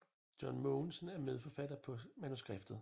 John Mogensen er medforfatter på manuskriptet